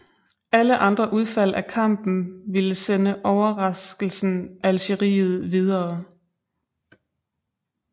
Alle andre udfald af kampen ville sende overraskelsen Algeriet videre